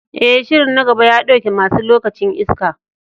E, shirin na gaba ya ɗauke masu lokacin iska.